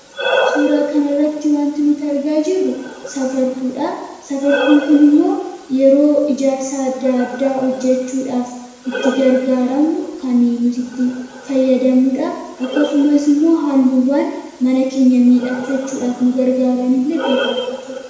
Suuraa kana irratti wanti nuti argaa jirru Safartuudha. Safartuun kun immoo yeroo ijaarsa adda addaa hojjechuudhaaf itti gargaaramnu kan nuti itti fayyadamnudha. Akkasumas immoo haalluuwwaan mana keenya miidhakfachuudhaaf nu gargaaranillee iddoo kanarra jiru.